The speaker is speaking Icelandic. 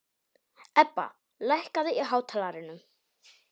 Ebba, lækkaðu í hátalaranum.